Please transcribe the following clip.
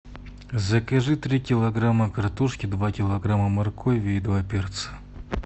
закажи три килограмма картошки два килограмма моркови и два перца